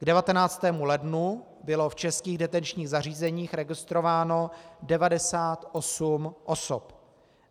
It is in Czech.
K 19. lednu bylo v Českých detenčních zařízeních registrováno 98 osob.